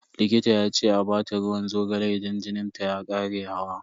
Likita ya ce a bata ruwan zogale idan jinin ta ya kara hawa.